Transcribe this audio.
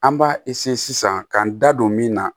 An b'a sisan k'an da don min na